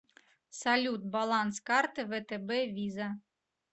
салют баланс карты втб виза